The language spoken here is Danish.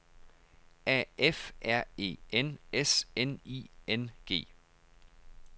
A F R E N S N I N G